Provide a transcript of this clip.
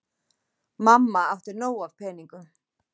Mamma átti nóg af peningum.